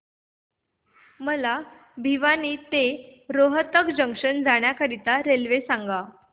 मला भिवानी ते रोहतक जंक्शन जाण्या करीता रेल्वे सांगा